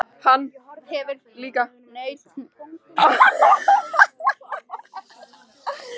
Hann hefur líka nautn af að herma eftir fólki.